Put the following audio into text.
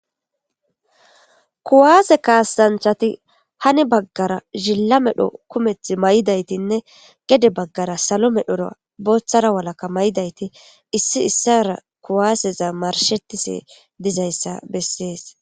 kuwaase kaasanchati hani baggara zilla medho kumeth may7idaytinne gede baggara salo medhora booththara walakka may7idayti issi issara kuwaaseza marshetise dizayssa bessees